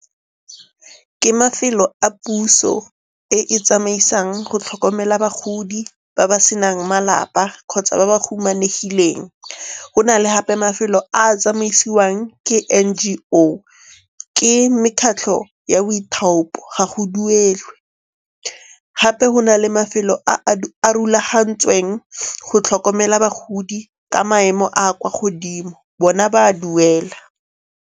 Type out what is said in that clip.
Ke mafelo a puso e e tsamaisang go tlhokomela bagodi ba ba senang malapa kgotsa ba ba humanegileng. Go na le gape mafelo a a tsamaisiwang ke N_G_O, ke mekgatlho ya boithaopo, ga go duelwe. Gape go na le mafelo a a rulagantsweng go tlhokomela bagodi ka maemo a kwa godimo, bona ba a duela.